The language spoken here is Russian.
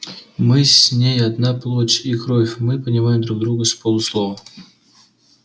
мы с ней одна плоть и кровь мы понимаем друг друга с полуслова